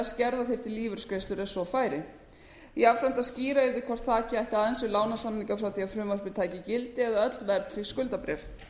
skerða þyrfti lífeyrisgreiðslur ef svo færi jafnframt að skýra yrði hvort þakið ætti aðeins við lánasamninga frá því frumvarpið tæki gildi eða öll verðtryggð skuldabréf